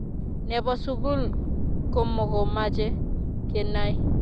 Nebo sukul komokomache kenai